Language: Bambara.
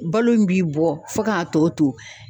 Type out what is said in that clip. Balo in b'i bɔ fɔ k'a tɔ to